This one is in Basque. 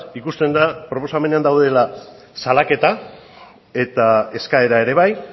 ikusten da proposamenean daudela salaketa eta eskaera ere bai